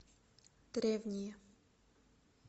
древние